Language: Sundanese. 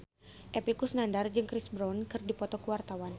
Epy Kusnandar jeung Chris Brown keur dipoto ku wartawan